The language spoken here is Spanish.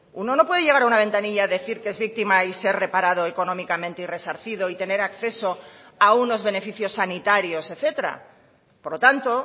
uno no puede llegar a una ventanilla decir que es víctima y ser reparado económicamente y resarcido y tener acceso a unos beneficios sanitarios etcétera por lo tanto